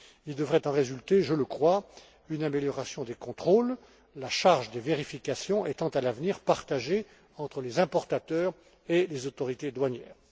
Il devrait en résulter, je le crois, une amélioration des contrôles, la charge des vérifications étant à l'avenir partagée entre les importateurs et les autorités douanières.